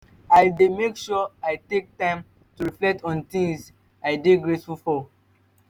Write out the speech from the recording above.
i dey make sure say i take time to reflect on di things i dey grateful for.